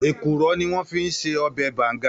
Èkúrò ni wòn fi n sè òbè bàngá